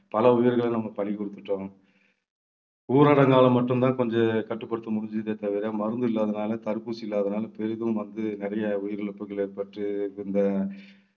பல உயிர்களை நம்ம பலி கொடுத்துட்டோம். ஊரடங்காலே மட்டும்தான் கொஞ்சம் கட்டுப்படுத்த முடிஞ்சதே தவிர மருந்து இல்லாததுனால தடுப்பூசி இல்லாததுனால பெரிதும் வந்து நிறைய உயிரிழப்புகள் ஏற்பட்டு இந்த